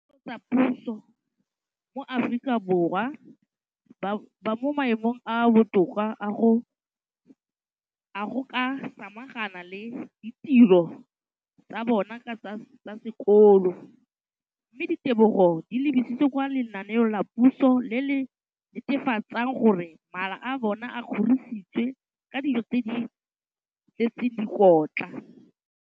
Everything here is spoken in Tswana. dikolo tsa puso mo Aforika Borwa ba mo maemong a a botoka a go ka samagana le ditiro tsa bona tsa sekolo, mme ditebogo di lebisiwa kwa lenaaneng la puso le le netefatsang gore mala a bona a kgorisitswe ka dijo tse di tletseng dikotla.